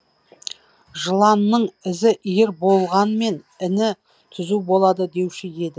жыланның ізі иір болғанмен іні түзу болады деуші еді